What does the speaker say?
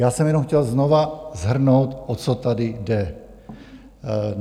Já jsem jenom chtěl znova shrnout, o co tady jde.